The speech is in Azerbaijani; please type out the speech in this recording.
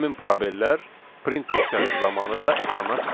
həmin probellər print funksiyası zamanı da ekrana çıxacaq.